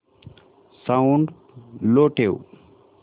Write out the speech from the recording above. sound low ठेव